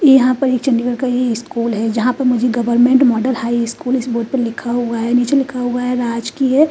यहाँ पर एक चंडीगढ़ का ये स्कूल है जहाँ पे मुझे government model high school board पे लिखा हुआ है नीचे लिखा हुआ है राजकीय--